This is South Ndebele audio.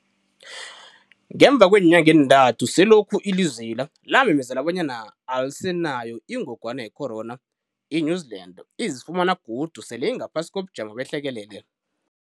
Ngemva kweenyanga ezintathu selokhu ilizwe lela lamemezela bonyana alisenayo ingogwana yecorona , i-New Zealand izifumana godu sele ingaphasi kobujamo behlekelele.